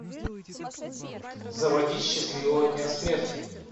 заводи счастливого дня смерти